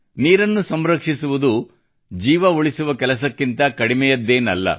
ನೀರನ್ನು ಸಂರಕ್ಷಿಸುವುದು ಜೀವ ಉಳಿಸುವ ಕೆಲಸಕ್ಕಿಂತ ಕಡಿಮೆಯದ್ದೇನಲ್ಲ